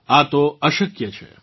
આ તો અશક્ય છે